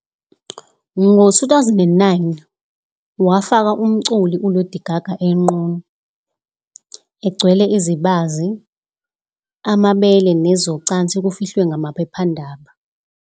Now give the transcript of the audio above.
Ngo-2009, wafaka umculi uLady Gaga enqunu, egcwele izibazi, amabele nezocansi kufihlwe ngamaphephandaba1.